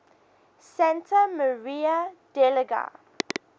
santa maria degli